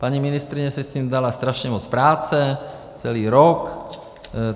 Paní ministryně si s tím dala strašně moc práce, celý rok.